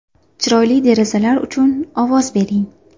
Chiroyli derazalar uchun ovoz bering!.